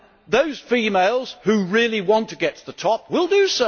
Those females who really want to get to the top will do